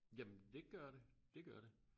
Jamen dét gør det dét gør det